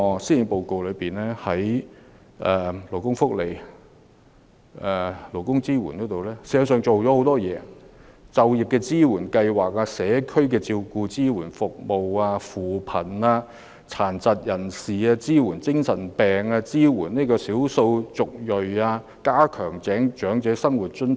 施政報告在勞工福利及勞工支援方面確實下了很大工夫，例如優化就業支援計劃及社區照顧及支援服務；扶貧；支援殘疾人士、精神病康復者及少數族裔人士，以及擴展長者生活津貼等。